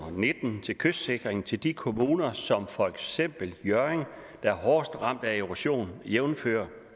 og nitten til kystsikring til de kommuner som for eksempel hjørring der er hårdest ramt af erosion jævnfør